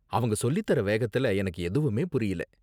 அவங்க சொல்லித் தர வேகத்துல, எனக்கு எதுவுமே புரியல.